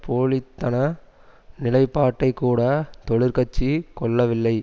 போலித்தன நிலைப்பாட்டைக்கூட தொழிற்கட்சி கொள்ளவில்லை